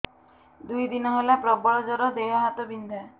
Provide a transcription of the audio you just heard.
ଦୁଇ ଦିନ ହେଲା ପ୍ରବଳ ଜର ଦେହ ହାତ ବିନ୍ଧା